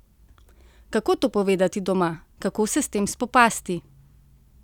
Kako to povedati doma, kako se s tem spopasti?